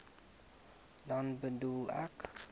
dan bedoel ek